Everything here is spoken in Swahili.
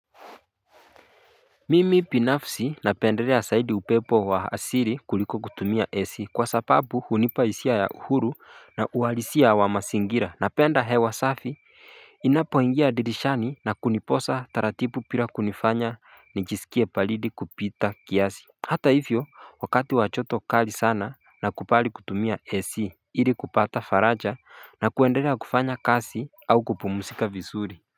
Mimi pinafsi napenderea saidi upepo wa asiri kuliko kutumia esi kwa sapabu hunipaisia ya uhuru na uhalisia wa masingira napenda hewa safi Inapoingia dirishani na kuniposa taratipu pira kunifanya nijisikie palidi kupita kiasi Hata hivyo wakati wachoto kali sana na kupali kutumia esi hiri kupata faraja na kuenderea kufanya kasi au kupumusika vizuri.